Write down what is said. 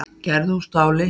Gerður úr stáli.